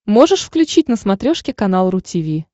можешь включить на смотрешке канал ру ти ви